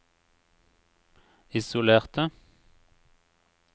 isolerte